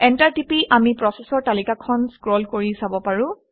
enter টিপি আমি প্ৰচেচৰ তালিকাখন স্ক্ৰল কৰি চাব পাৰোঁ